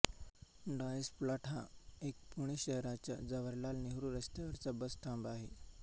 Dias plot हा एक पुणे शहराच्या जवाहरलाल नेहरू रस्त्यावरचा बस थांबा आहे